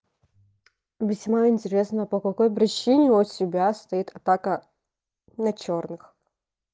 весьма интересно по какой причине у тебя стоит атака на чёрных